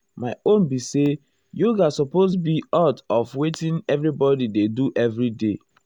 my own be say yoga supose be oart of wetin everybodi dey do everyday.